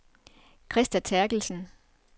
Christa Terkelsen